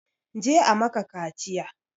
Je a maka kaciya!